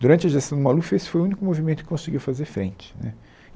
Durante a gestão do Maluf, esse foi o único movimento que conseguiu fazer frente né.